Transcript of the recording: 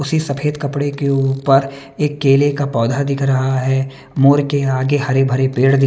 उसी सफेद कपड़े के ऊपर एक केले का पौधा दिख रहा है मोर के आगे हरे भरे पेड़ दि--